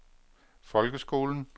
folkeskolen